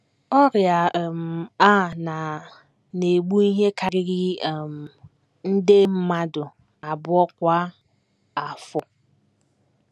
Ọrịa um a na - na - egbu ihe karịrị um nde mmadụ abụọ kwa afọ.